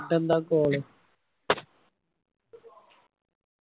ട്ടെന്താ call